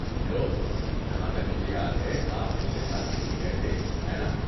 Hello, جہاں تک مجھے یاد ہے آپ پچھلے سال دہلی گئے تھے، ہے نا؟